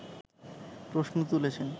প্রশ্ন তুলেছেন